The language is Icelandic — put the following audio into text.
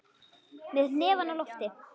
Með hnefann á lofti.